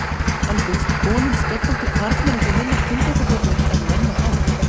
En finnst konum sköllóttir karlmenn eitthvað minna kynþokkafullir en menn með hár?